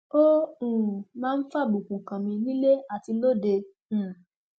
ó um máa ń fàbùkù kàn mí nílé àti lóde um